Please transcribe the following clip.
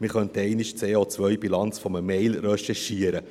Man könnte einmal die CO-Bilanz eines E-Mails recherchieren;